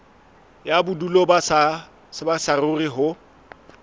ya bodulo ba saruri ho